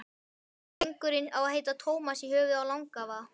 Drengurinn á að heita Tómas í höfuðið á langafa.